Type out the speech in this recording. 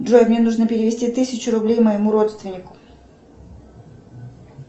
джой мне нужно перевести тысячу рублей моему родственнику